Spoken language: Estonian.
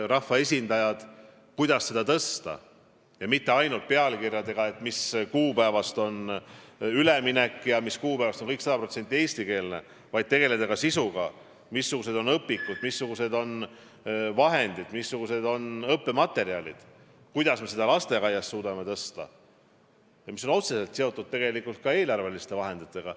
Rahvaesindajad saavad arutada, kuidas seda taset tõsta, ja mitte ainult pealkirjades välja käies, mis kuupäevast on üleminek ja mis kuupäevast on õpe 100% eestikeelne, vaid tegeleda ka sisuga: missugused on õpikud, missugused on vahendid, missugused on muud õppematerjalid, kuidas me seda taset lasteaias suudame tõsta, mis nimelt on otseselt seotud eelarve vahenditega.